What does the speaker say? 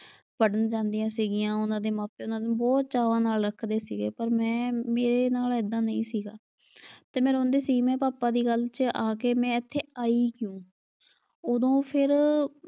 ਪੜ੍ਹਨ ਜਾਂਦੀਆਂ ਸੀ ਗਈਆਂ। ਉਨ੍ਹਾਂ ਦੇ ਮਾਪੇ ਉਨ੍ਹਾਂ ਨੂੰ ਬਹੁਤ ਚਾਵਾਂ ਨਾਲ ਰੱਖਦੇ ਸੀਗੇ ਪਰ ਮੈਂ ਮੇਰੇ ਨਾਲ ਏਦਾਂ ਨਈਂ ਸੀਗਾ ਤੇ ਮੈਂ ਰੋਂਦੀ ਸੀ ਮੈਂ ਪਾਪਾ ਦੀ ਗੱਲ ਚ ਆ ਕੇ ਮੈਂ ਇੱਥੇ ਆਈ ਕਿਉਂ? ਉਦੋਂ ਫਿਰ,